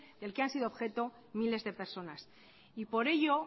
en que han sido objeto miles de personas y por ello